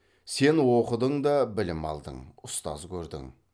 сен оқыдың да білім алдың ұстаз көрдің